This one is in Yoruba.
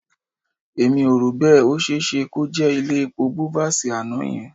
Èmi ò rò bẹ́ẹ̀. Ó ṣe é ṣe kó jẹ́ ilé epo Bovas àná yẹn